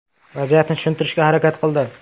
Vaziyatni tushuntirishga harakat qildi.